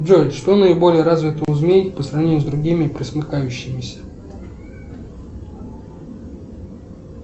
джой что наиболее развито у змей по сравнению с другими пресмыкающимися